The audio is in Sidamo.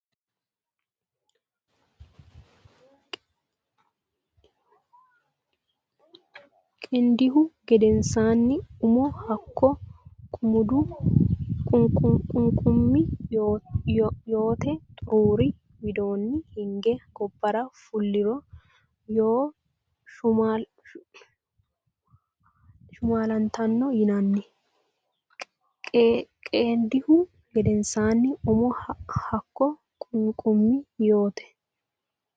Qeendihu gedensaanni umo hakko qunqumi yoote xuruuri widoonni hige gobbara fuliro Yoo shumaallitino yinanni Qeendihu gedensaanni umo hakko qunqumi yoote.